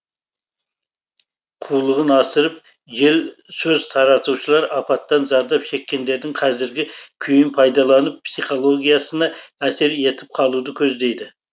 қулығын асырып жел сөз таратушылар апаттан зардап шеккендердің қазіргі күйін пайдаланып психологиясына әсер етіп қалуды көздейді